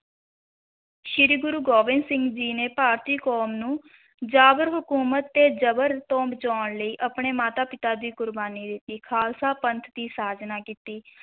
ਸ੍ਰੀ ਗੁਰੂ ਗੋਬਿੰਦ ਸਿੰਘ ਜੀ ਨੇ ਭਾਰਤੀ ਕੌਮ ਨੂੰ, ਜਾਬਰ ਹਕੂਮਤ ਤੇ ਜਬਰ ਤੋਂ ਬਚਾਉਣ ਲਈ ਆਪਣੇ ਮਾਤਾ-ਪਿਤਾ ਦੀ ਕੁਰਬਾਨੀ ਦਿੱਤੀ, ਖ਼ਾਲਸਾ ਪੰਥ ਦੀ ਸਾਜਨਾ ਕੀਤੀ,